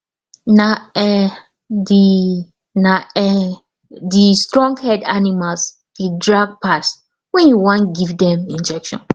na um the na um the stronghead animals dey drag pass when you wan give dem injection